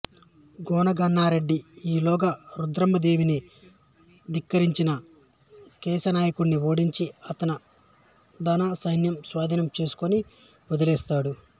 గోనగన్నారెడ్డి ఈలోగా రుద్రమ్మదేవిని ధిక్కరించిన కేశనాయకుడిని ఓడించి అతని ధనం సైన్యం స్వాధీనం చేసుకొని వదిలేస్తాడు